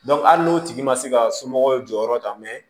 hali n'o tigi ma se ka somɔgɔw jɔyɔrɔ ta